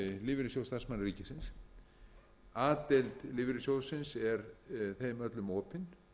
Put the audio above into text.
lífeyrissjóð starfsmanna ríkisins a deild lífeyrissjóðsins er þeim öllum opin